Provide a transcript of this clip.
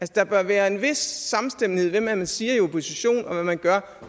der bør være en vis samstemmighed mellem det man siger i oppositionen og hvad man gør